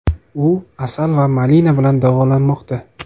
U asal va malina bilan davolanmoqda.